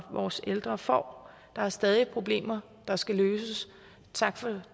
vores ældre får der er stadig problemer der skal løses tak for